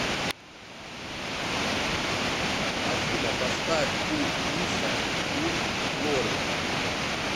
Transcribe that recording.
афина поставь ку иша ун флори